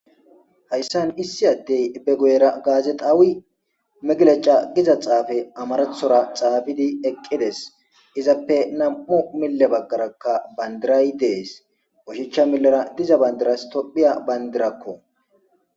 Hayssan issi addey be guyera gazexawi megleca giza xaafe amarathora xaafidi eqqides; izappe nam'u mille bagaarakka bandiray de'es oshicha millera diza bandiras tophphiya bandirako.